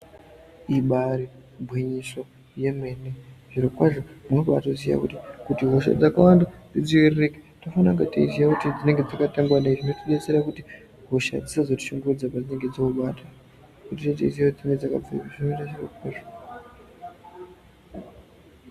Ibari gwinyiso yemene zviro kwazvo unobatoziya kuti, kuti hosha dzakawanda dzidziiririke tinofana kunge teiziya kuti dzakatangwa ngei zvinodetsera kuti hosha dzisazotishungurudza padzinenge dzobata ngekuti tinenge teiziye kuti tine dzakabvepi zvinoite.